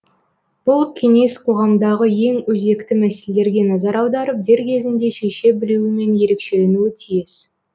бұл кеңес қоғамдағы ең өзекті мәселелерге назар аударып дер кезінде шеше білуімен ерекшеленуі тиіс